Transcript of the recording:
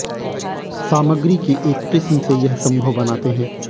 सामग्री की एक किस्म से यह संभव बनाते हैं